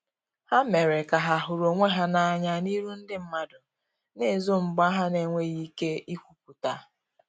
Ha mere ka ha huru onwe ha na anya n'iru ndi madu na ezo mgba ha n'enweghi ike ikwuputa.